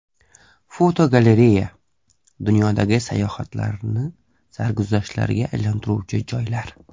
Fotogalereya: Dunyodagi sayohatlarni sarguzashtlarga aylantiruvchi joylar.